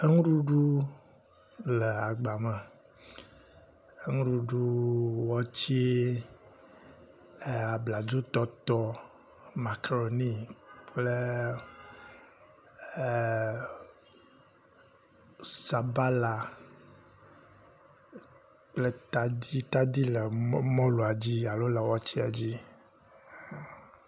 Enuɖuɖu le agbame, enuɖuɖu, watse, abladzotɔtɔ, macaroni kple ee sabala kple tadi, tadi le mɔlua dzi alo le watsea dzi.